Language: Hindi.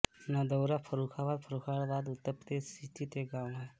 नदौरा फर्रुखाबाद फर्रुखाबाद उत्तर प्रदेश स्थित एक गाँव है